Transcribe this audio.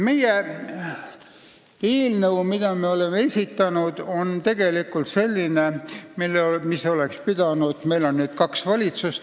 Eelnõu, mille me oleme esitanud, on tegelikult tüüpiline seda sorti eelnõu, mille tehniliselt võttes peaks algatama valitsus.